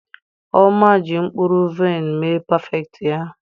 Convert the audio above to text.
Oma ji mkpụrụ vaịn mee Parfait ya.